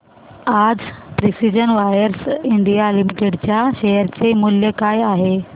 आज precision wires India limited च्या share चे मूल्य काय आहे